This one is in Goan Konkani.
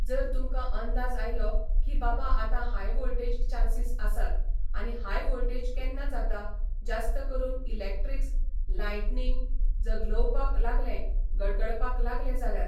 जर तुमकां अंदाज आयलो कि बाबा आतां हाय वोल्टॅज चान्सीस आसात आनी हाय वोल्टॅज केन्ना जाता जास्त करून इलॅक्ट्रीस लायटनींग जगलोवपाक लागलें गडगडपाक लागलें जाल्यार